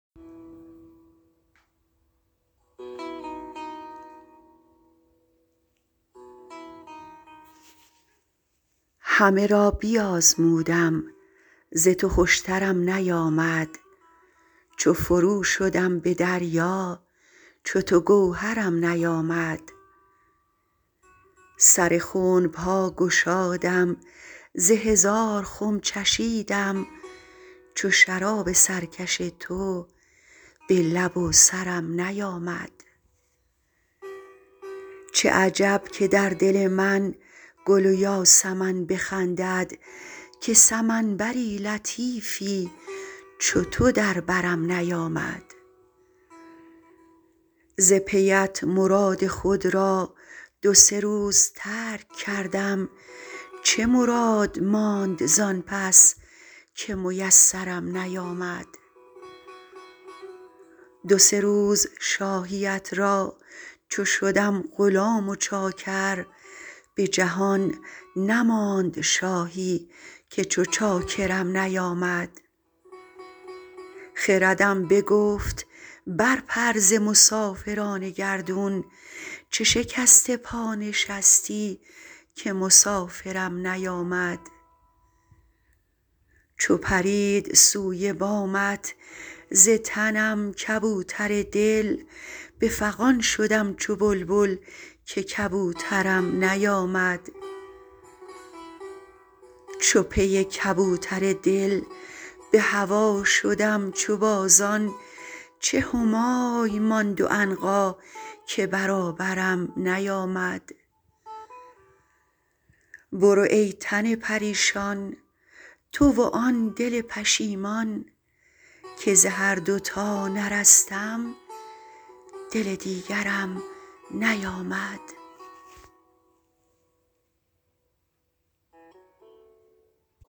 همه را بیازمودم ز تو خوشترم نیامد چو فرو شدم به دریا چو تو گوهرم نیامد سر خنب ها گشادم ز هزار خم چشیدم چو شراب سرکش تو به لب و سرم نیامد چه عجب که در دل من گل و یاسمن بخندد که سمن بر لطیفی چو تو در برم نیامد ز پیت مراد خود را دو سه روز ترک کردم چه مراد ماند زان پس که میسرم نیامد دو سه روز شاهیت را چو شدم غلام و چاکر به جهان نماند شاهی که چو چاکرم نیامد خردم بگفت برپر ز مسافران گردون چه شکسته پا نشستی که مسافرم نیامد چو پرید سوی بامت ز تنم کبوتر دل به فغان شدم چو بلبل که کبوترم نیامد چو پی کبوتر دل به هوا شدم چو بازان چه همای ماند و عنقا که برابرم نیامد برو ای تن پریشان تو و آن دل پشیمان که ز هر دو تا نرستم دل دیگرم نیامد